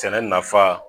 Sɛnɛ nafa